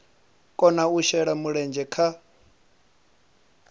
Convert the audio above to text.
kona u shela mulenzhe kha